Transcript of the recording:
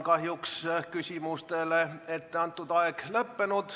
Kahjuks on küsimusteks antud aeg lõppenud.